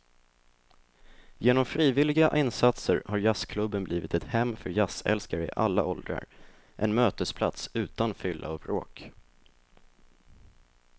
Genom frivilliga insatser har jazzklubben blivit ett hem för jazzälskare i alla åldrar, en mötesplats utan fylla och bråk.